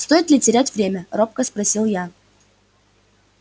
стоит ли терять время робко спросил я